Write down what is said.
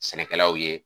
Sɛnɛkɛlaw ye